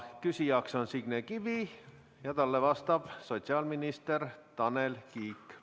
Küsijaks on Signe Kivi ja talle vastab sotsiaalminister Tanel Kiik.